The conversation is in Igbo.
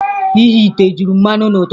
Ighe ite juru mmanụ n'ụtụtụ a.